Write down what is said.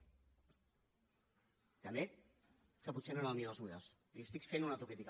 també que potser no era el millor dels models li estic fent una autocrítica